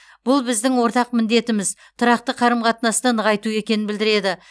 бұл біздің ортақ міндетіміз тұрақты қарым қатынасты нығайту екенін білдіреді